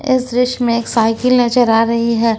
इस दृश्य में साइकिल नजर आ रही है।